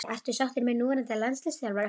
Ertu sáttur með núverandi landsliðsþjálfara?